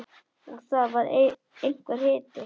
Og það var einhver hiti.